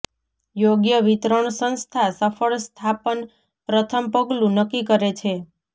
યોગ્ય વિતરણ સંસ્થા સફળ સ્થાપન પ્રથમ પગલું નક્કી કરે છે